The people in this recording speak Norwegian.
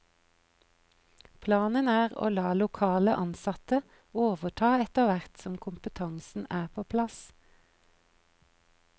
Planen er å la lokale ansatte overta etter hvert som kompetansen er på plass.